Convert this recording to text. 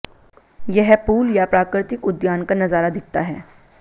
यह पूल या प्राकृतिक उद्यान का नजारा दिखता है